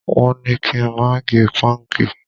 Wọn ní kí n má gẹ pọ́ǹgì